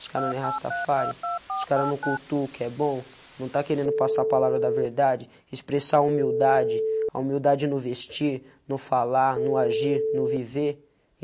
Os caras não é rastafári, os caras não cultuam o que é bom, não tá querendo passar a palavra da verdade, expressar humildade, a humildade no vestir, no falar, no agir, no viver.